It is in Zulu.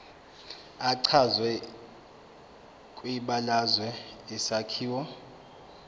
echazwe kwibalazwe isakhiwo